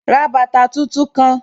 Ra bàtà tun-tun kan!